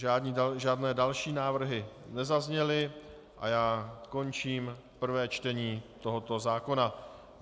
Žádné další návrhy nezazněly a já končím prvé čtení tohoto zákona.